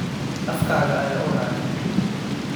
Afkaaga ayaa uraya.